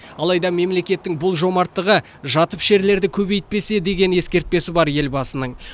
алайда мемлекеттің бұл жомарттығы жатып ішерлерді көбейтпесе деген ескертпесі бар елбасының